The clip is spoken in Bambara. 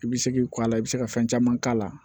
I bɛ se k'i kɔ a la i bɛ se ka fɛn caman k'a la